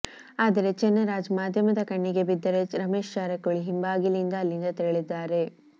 ಆದರೆ ಚೆನ್ನರಾಜ್ ಮಾಧ್ಯಮದ ಕಣ್ಣಿಗೆ ಬಿದ್ದರೆ ರಮೇಶ್ ಜಾರಕಿಹೊಳಿ ಹಿಂಬಾಗಿಲಿನಿಂದ ಅಲ್ಲಿಂದ ತೆರಳಿದ್ದಾರೆ